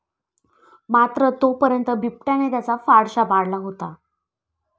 मात्र तोपर्यंत बिबट्याने त्याचा फडशा पाडला होता.